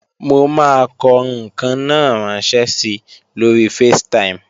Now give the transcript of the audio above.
Mo máa kọ ǹkan náà ránṣẹ́ si lóri Facetime